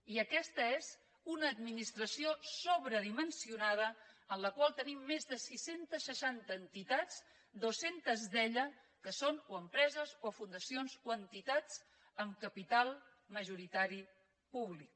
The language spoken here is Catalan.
i aquesta és una administració sobredimensionada en la qual tenim més de sis cents i seixanta entitats dos cents d’elles que són o empreses o fundacions o entitats amb capital majoritari públic